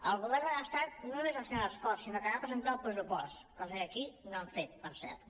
el govern de l’estat no només va fer un esforç sinó que va presentar el pressupost cosa que aquí no han fet per cert